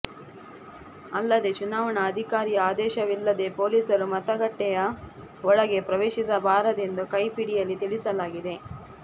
ಅಲ್ಲದೆ ಚುನಾವಣಾ ಅಧಿಕಾರಿಯ ಆದೇಶವಿಲ್ಲದೆ ಪೊಲೀಸರು ಮತಗಟ್ಟೆಯ ಒಳಗೆ ಪ್ರವೇಶಿಸಬಾರದು ಎಂದು ಈ ಕೈಪಿಡಿಯಲ್ಲಿ ತಿಳಿಸಲಾಗಿದೆ